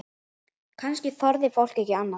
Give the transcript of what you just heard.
Kannski þorði fólk ekki annað?